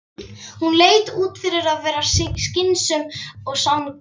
samanburði er sagnfræðin misheppnuð ágræðsla, dett jafnan út úr sögunni.